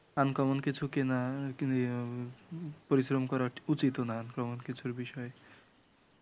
uncommon কিছু কিনা পরিশ্রম করা উচিত ও নাহ, uncommon কিছুর বিষয়ে